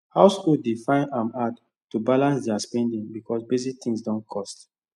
households dey find am hard to balance their spending because basic things don cost